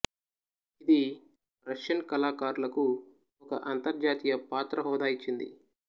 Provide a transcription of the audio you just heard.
ఇది రష్యన్ కళాకారులకు ఒక అంతర్జాతీయ పాత్ర హోదా ఇచ్చింది